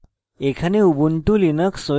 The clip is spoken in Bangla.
এখানে